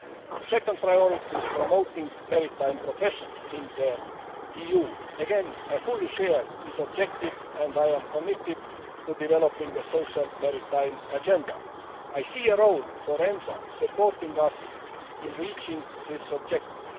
The second priority is promoting maritime professions in the EU. Again, I fully share this objective and I am committed to developing a social maritime agenda. I see a role for EMSA supporting us in reaching this objective.